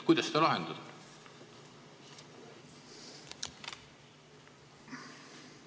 Kuidas seda lahendada?